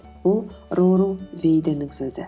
ол рору бейденнің сөзі